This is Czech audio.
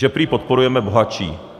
Že prý podporujeme bohatší.